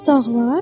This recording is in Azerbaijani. Bəs dağlar?